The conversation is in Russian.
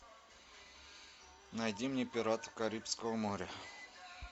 найди мне пиратов карибского моря